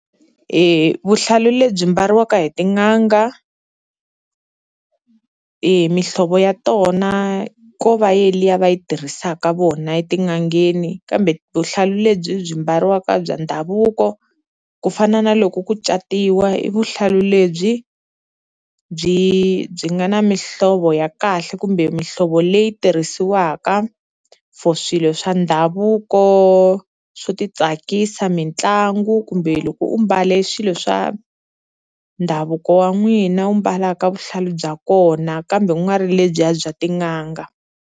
E vuhlalu lebyi mbariwaka hi tin'anga, mihlovo ya tona ko va ye liya va yi tirhisaka vona etin'angeni kambe vuhlalu lebyi byi mbariwaka bya ndhavuko ku fana na loko ku catiwa i vuhlalu lebyi byi byi nga na mihlovo ya kahle kumbe mihlovo leyi tirhisiwaka for swilo swa ndhavuko swo ti tsakisa, mitlangu kumbe loko u mbale swilo swa ndhavuko wa n'wina wu mbalaka vuhlalu bya kona kambe u nga ri lebyiya bya tin'anga.